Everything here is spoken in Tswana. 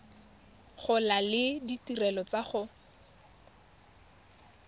gola le ditirelo tsa go